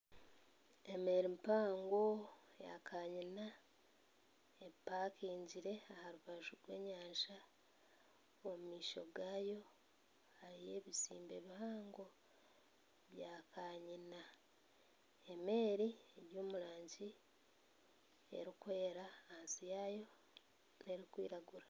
Emeeri mpango eyakarina epakingire aharubaju rw'enyanja omu maisho gaayo hariyo ebizimbe bihango bya kanyina emeeri eri omurangi erikwera ahansi yaayo erikwiragura